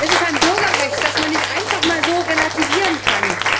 Sie ist ein Bürgerrecht, das man nicht einfach relativieren kann!